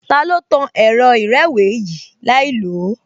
Ta ló tan ẹ̀rọ ìrẹ́wèé yìí láìlòó?